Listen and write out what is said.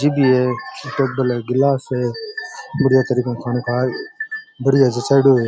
TV है table है गिलास है बढ़िया तरीके ऊ खानों खार बड़ियां जचायेडो है।